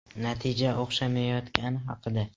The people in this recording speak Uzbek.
Natija o‘xshamayotgani haqida?